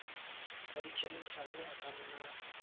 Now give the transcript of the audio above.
a dikhemikhale a ka nna